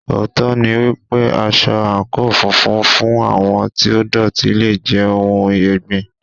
Òótọ́ ni wípé, aṣọ àǹkóò funfun fún àwọn tí ó dọ̀tí le jẹ́ ohun ẹ̀gbin.